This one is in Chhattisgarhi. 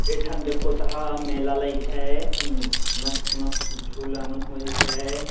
एक ठन देखो त ह मेला लग हैं एक ठ मस्त-मस्त झूला मन होई हैं।